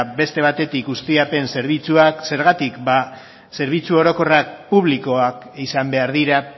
beste batetik ustiapen zerbitzuak zergatik zerbitzu orokorrak publikoak izan behar dira